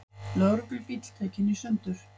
Lögreglubíll tekinn í sundur